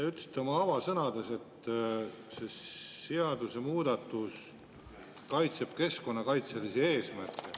Te ütlesite oma avasõnades, et seadusemuudatus kaitseb keskkonnakaitselisi eesmärke.